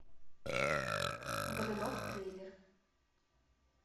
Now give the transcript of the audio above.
годунов трейлер